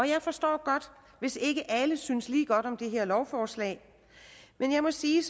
jeg forstår godt hvis ikke alle synes lige godt om det her lovforslag men jeg må sige